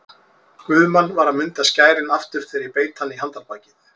Guðmann var að munda skærin aftur þegar ég beit hann í handarbakið.